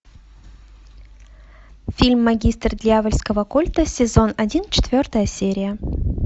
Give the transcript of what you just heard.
фильм магистр дьявольского культа сезон один четвертая серия